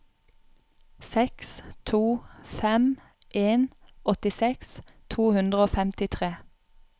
seks to fem en åttiseks to hundre og femtitre